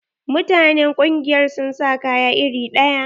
Mutanen ƙungiyar sun sa kaya iri ɗaya.